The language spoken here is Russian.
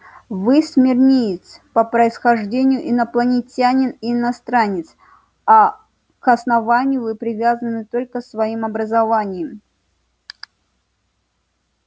вы смирниец по происхождению инопланетянин и иностранец а к основанию вы привязаны только своим образованием